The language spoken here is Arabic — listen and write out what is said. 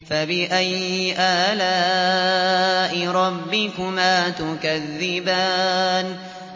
فَبِأَيِّ آلَاءِ رَبِّكُمَا تُكَذِّبَانِ